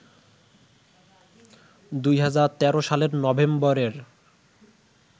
২০১৩ সালের নভেম্বরের